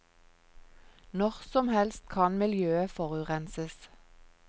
Når som helst kan miljøet forurenses.